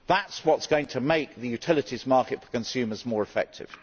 That is what is going to make the utilities market for consumers more effective.